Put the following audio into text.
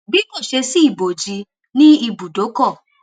bí kò ṣe sí ibòji ní ibùdókò